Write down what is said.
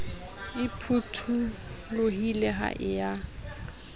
e phutholohile ha e ya